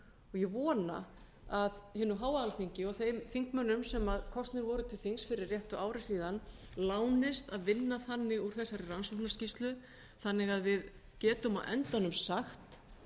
ég vona að hinu háa alþingi og þeim þingmönnum sem kosnir voru til þings fyrir réttu ári síðan lánist að vinna þannig úr þessari rannsóknarskýrslu að við getum á endanum sagt